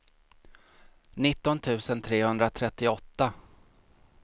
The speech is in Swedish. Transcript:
nitton tusen trehundratrettioåtta